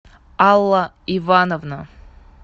алла ивановна